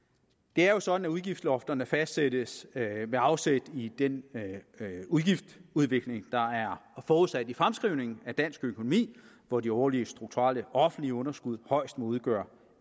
det er jo sådan at udgiftslofterne fastsættes med afsæt i den udgiftsudvikling der er forudsat i fremskrivningen af dansk økonomi hvor de årlige strukturelle offentlige underskud højst må udgøre